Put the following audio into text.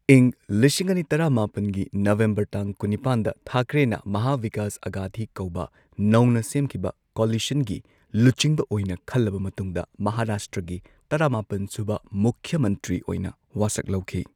ꯏꯪ ꯂꯤꯁꯤꯡ ꯑꯅꯤ ꯇꯔꯥꯃꯥꯄꯟꯒꯤ ꯅꯕꯦꯝꯕꯔ ꯇꯥꯡ ꯀꯨꯟꯅꯤꯄꯥꯟꯗ ꯊꯥꯀ꯭ꯔꯦꯅ ꯃꯍꯥ ꯕꯤꯀꯥꯁ ꯑꯘꯥꯗꯤ ꯀꯧꯕ ꯅꯧꯅ ꯁꯦꯝꯈꯤꯕ ꯀꯣꯂꯤꯁꯟꯒꯤ ꯂꯨꯆꯤꯡꯕ ꯑꯣꯏꯅ ꯈꯜꯂꯕ ꯃꯇꯨꯡꯗ ꯃꯍꯥꯔꯥꯁꯇ꯭ꯔꯒꯤ ꯇꯔꯥꯃꯥꯄꯟ ꯁꯨꯕ ꯃꯨꯈ꯭ꯌ ꯃꯟꯇ꯭ꯔꯤ ꯑꯣꯏꯅ ꯋꯥꯁꯛ ꯂꯧꯈꯤ꯫